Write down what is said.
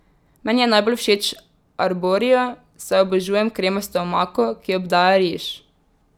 Meni je najbolj všeč arborio, saj obožujem kremasto omako, ki obdaja riž.